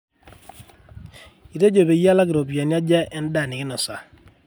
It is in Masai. itejo peyie alak ropiyani aja endaa nikinosa